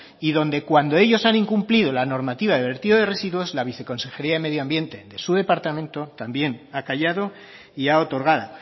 y donde cuando ellos han incumplido la normativa de vertido de residuos la viceconsejería de medio ambiente de su departamento también ha callado y ha otorgado